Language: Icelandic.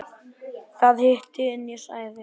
Þar hitti ég hann síðast.